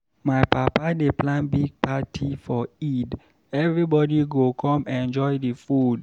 My papa dey plan big party for Eid, everybody go come enjoy the food.